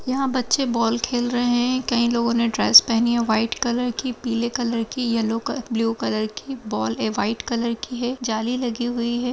यहां बच्चे बॉल खेल रहे हैं। कई लोगो ने ड्रेस पहनी हैं व्हाइट कलर की पीले कलर की येलो की ब्लू कलर की। बॉल है व्हाइट कलर की है। जाली लगी हुई है।